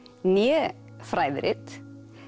né fræðirit